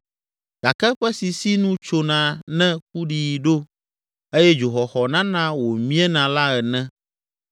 gake eƒe sisi nu tsona ne kuɖiɣi ɖo eye dzoxɔxɔ nana wòmiena la ene.